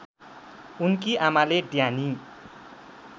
उनकी आमाले ड्यानी